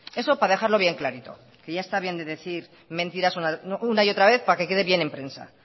eso para dejarlo bien clarito que ya está bien de decir mentiras una y otra vez para que quede bien en prensa